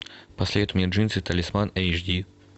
посоветуй мне джинсы талисман эйч ди